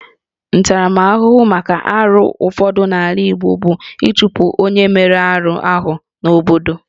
Ntaramahụhụ maka arụ ụfọdụ n'ala Igbo bụ ịchụpụ onye mere arụ ahụ n'obodo